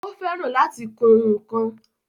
Ó fẹ́ràn láti kun ǹkan